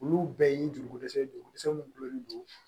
Olu bɛɛ y'i jogo kosɛ